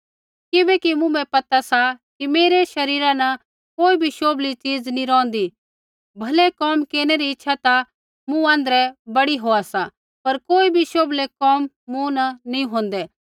किबैकि मुँभै पता सा कि मेरै शरीरा न कोई भी शोभली चीज नैंई रोहन्दी भलै कोम केरनै री इच्छा ता मूँ आँध्रै बड़ी होआ सा पर कोई भी शोभलै कोम मूँ न नैंई होंदै